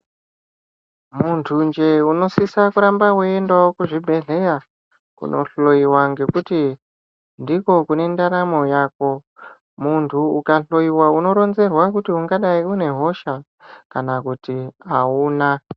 Muntu njee unosisa kuramba weiendawo kuzvibhedhleya kunohloyiwa ngekuti ndiko kune ndaramo yako. Muntu ukahloyiwa unoronzerwa kuti ungadai unehosha kana kuti hauna.